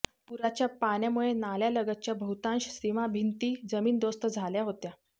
पुराच्या पाण्यामुळे नाल्यालगतच्या बहुतांश सीमाभिंती जमीनदोस्त झाल्या होत्या